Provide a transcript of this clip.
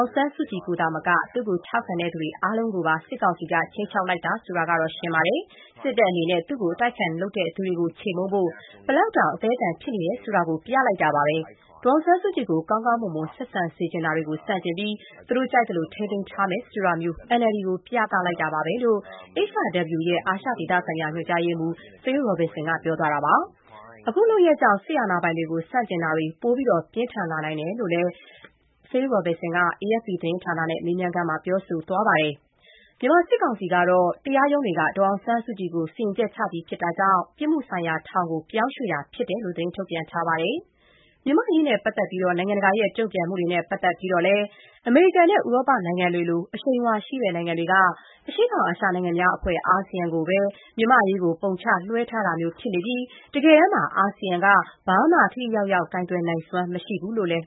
င်ဆန်းစုကြည်ကို သာမက သူ့ကို ထောက်ခံတဲ့သူတွေ အားလုံးကိုပါ စစ်ကောင်စီက ခြိမ်းခြောက်လိုက်တာဆိုတာကတော့ ရှင်းပါတယ်။ စစ်တပ်အနေနဲ့ သူ့ကို အတိုက်အခံလုပ်တဲ့သူတွေကို ချေမှုန်းဖို့ ဘယ်လောက်တောင် အသည်းအသန် ဖြစ်နေဆိုတာကို ပြလိုက်ပါပဲ။ ဒေါ်အောင်ဆန်းစုကြည်ကို ကောင်းကောင်းမွန်မွန် ဆက်ဆံစေချင်တာတွေကို ဆန့်ကျင်ပြီး သူတို့ကြိုက်သလို ထိန်းသိမ်းထားမယ်ဆိုတာမျိုး NLD ကို ပြတာပဲ။” လို့ HRW) အာရှဒေသဆိုင်ရာ ညွှန်ကြားရေးမှူး Phil Robertson ပြောသွားတာပါ။ အခုလုပ်ရပ်ကြောင့် စစ်အာဏာပိုင်တွေကို ဆန့်ကျင်တာတွေ ပိုပြင်းထန်လာနိုင်တယ်လို့လည်း Robertson က AFP သတင်းဌာနနဲ့ မေးမြန်းခန်းမှာ ပြောပါတယ်။ မြန်မာစစ်ကောင်စီကတော့ တရားရုံးတွေက ဒေါ်အောင်ဆန်းစုကြည်ကို စီရင်ချက် ချပြီး ဖြစ်တာကြောင့် ပြစ်မှုဆိုင်ရာ ထောင်ကို ပြောင်းရွှေ့တာဖြစ်တယ်လို့ သတင်းထုတ်ပြန်ထားပါတယ်။ မြန်မာ့အရေးနဲ့ပတ်သက်ပြီး နိုင်ငံတကာ တုံ့ပြန်မှုတွေနဲ့ ပတ်သက်လို့လည်း အမေရိကန်နဲ့ ဥရောပနိုင်ငံတွေလို အရှိန်အဝါရှိတဲ့ နိုင်ငံတွေက အရှေ့တောင်အာရှနိုင်ငံများအဖွဲ့ အာဆီယံကိုပဲ ပုံချ လွှဲထားတာမျိုး ဖြစ်နေပြီး တကယ်တမ်းမှာ အာဆီယံက ဘာမှ ထိထိရောက်ရောက် ကိုင်တွယ်နိုင်စွမ်း မရှိဘူးလို့လည်း